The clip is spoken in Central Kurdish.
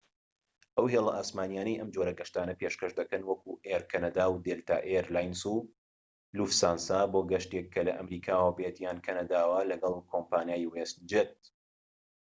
ئەو هێڵە ئاسمانیانەی ئەم جۆرە گەشتانە پێشکەش دەکەن وەکو ئێر کەنەدا و دێلتا ئێر لاینس و لوفسانسا بۆ گەشتێك کە لە ئەمریکاوەبێت یان کەنەداوە لەگەڵ کۆمپانیای وێست جێت